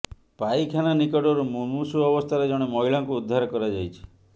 ପାଇଖାନା ନିକଟରୁ ମୁମୂର୍ଷୁ ଅବସ୍ଥାରେ ଜଣେ ମହିଳାଙ୍କୁ ଉଦ୍ଧାର କରାଯାଇଛି